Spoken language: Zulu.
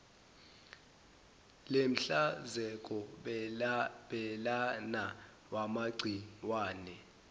lenhlanzeko belana wamagciwane